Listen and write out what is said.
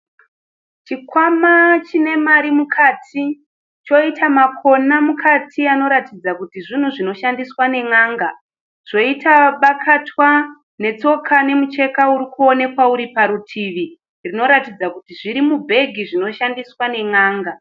Chikwama chine mari mukati, choita makona mukati anoratidza kuti zvinhu zvinoshandiswa nen'anga, zvoita bakatwa netsoka nemucheka uri kuonekwa uri parutivi zvinoratidza kuti zviri mubhegi zvinoshandiswa nen'anga.